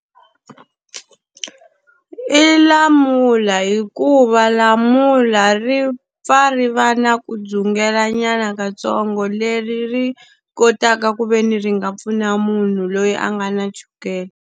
I lamula hikuva lamula ri pfa ri va na ku dzungelanyana kantsongo leri ri kotaka ku ve ni ri nga pfuna munhu loyi a nga na chukele.